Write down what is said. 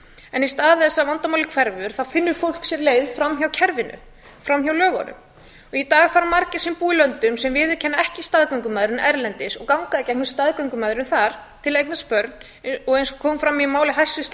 en í stað þess að vandamálið hverfur þá finnur fólk sér leið framhjá kerfinu framhjá lögunum í dag eru margir sem búa í löndum sem viðurkenna ekki staðgöngumæðrun erlendis og ganga gegnum staðgöngumæðrun þar til að eignast börn og eins og kom fram í máli hæstvirts